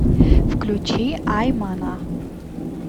включи ай мана